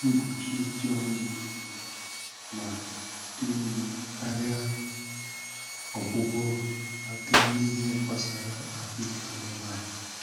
Mgbochi dị ọnụ ala ma dị mma karịa ọgwụgwọ ma a bịa n'ihe gbasara ahụike anụmanụ.